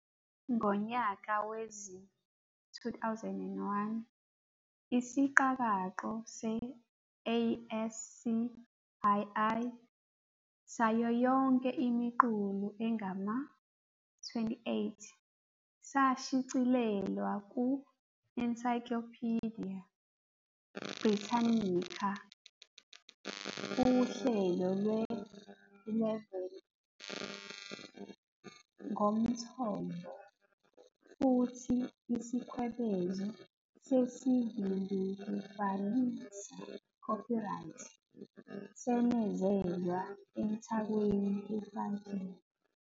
Ngonyaka wezi-2001, isiqakaqo se-ASCII sayo yonke imiqulu engama- 28 sashicilelwa ku-"Encyclopaedia Britannica" uhlelo lwe-11 ngomthombo, futhi isikwebezo sesivimbekufanisa, copyright," senezelwa emthakweni efakiwe.